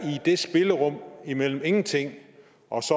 det spillerum imellem ingenting og